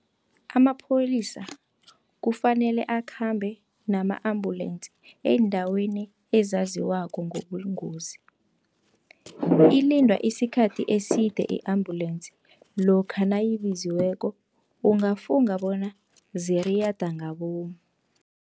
Amapholisa kufanele akhambe nama ambulensi eendaweni ezaziwako ngobungozi. Ilindwa isikhathi eside i-ambulensi lokha nayibiziweko, ungafunga bona ziriyada ngabomu.